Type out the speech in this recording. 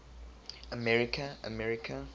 america america